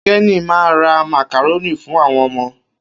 Kenny ma ra màkàrónì fún àwọn ọmọ